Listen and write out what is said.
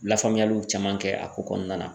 Lafaamuyaliw caman kɛ a ko kɔnɔna na